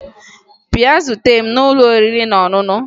Bịa zute m n'ụlọ oriri na ọṅụṅụ!